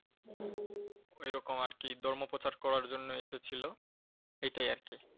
ওইরকম আর কি ধর্ম প্রচার করার জন্য এসেছিল, এইটাই আর কি।